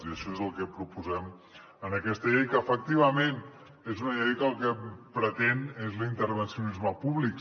i això és el que proposem en aquesta llei que efectivament és una llei que el que pretén és l’intervencionisme públic